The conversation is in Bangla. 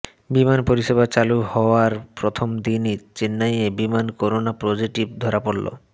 বিমান পরিষেবা চালু হওয়ার প্রথমদিনই চেন্নাইয়ের বিমানে করোনা পজিটিভ ধরা পড়ল